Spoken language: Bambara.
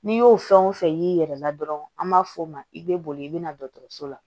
N'i y'o fɛn o fɛn y'i yɛrɛ la dɔrɔn an b'a f'o ma i bɛ boli i bɛ na dɔgɔtɔrɔso la